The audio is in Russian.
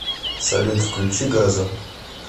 салют включи газо